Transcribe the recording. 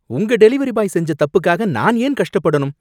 உங்க delivery boy செஞ்ச தப்புக்காக நான் ஏன் கஷ்டப்படணும்?